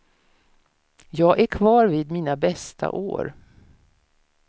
Jag är kvar vid mina bästa år.